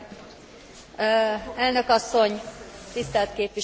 Elnök asszony, tisztelt képviselő hölgyek és urak!